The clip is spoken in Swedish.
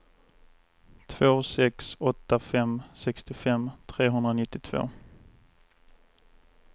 två sex åtta fem sextiofem trehundranittiotvå